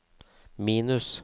minus